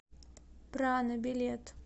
прана билет